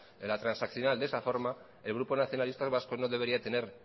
la transaccional de esa forma el grupo nacionalistas vascos no debería de tener